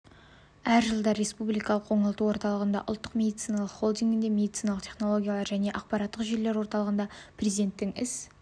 әр жылдары республикалық оңалту орталығында ұлттық медициналық холдингінде медициналық технологиялар және ақпараттық жүйелер орталығында президентінің іс